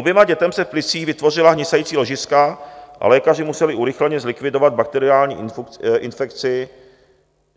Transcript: Oběma dětem se v plicích vytvořila hnisající ložiska a lékaři museli urychleně zlikvidovat bakteriální infekci